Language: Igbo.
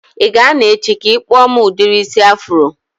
I ga a nọ echi ka ị kpụọ m udiri isi afro?